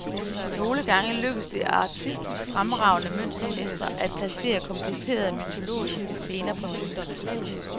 Nogle gange lykkedes det artistisk fremragende møntmestre at placere komplicerede mytologiske scener på mønterne.